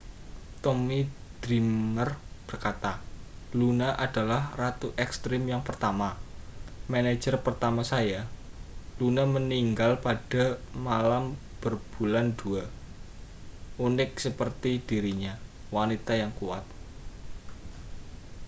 tommy dreamer berkata luna adalah ratu ekstrem yang pertama manajer pertama saya luna meninggal pada malam berbulan dua unik seperti dirinya wanita yang kuat